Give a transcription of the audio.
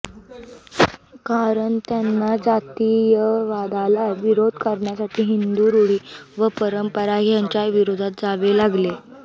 कारण त्यांना जातीयवादाला विरोध करण्यासाठी हिंदू रूढी व परंपरा ह्यांच्या विरोधात जावे लागले